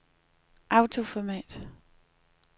autoformat